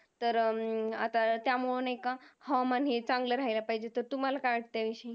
तर अं आता त्यामुळं नाही का हवामान हे चांगलं राहिलं पाहिजे. तुम्हाला काय वाटतंय ह्याविषयी?